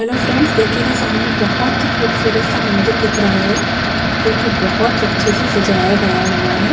Hello friends देखिएगा सामने बहुत ही खूबसूरत सा मंदिर दिख रहा है जोकि बहुत अच्छे से सजाया गया हुआ है।